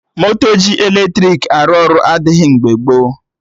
Moto ji eletrik arụ ọrụ adịghị mgbe gboo